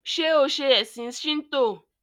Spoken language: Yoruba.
ṣe o ṣe ẹsìn Shinto?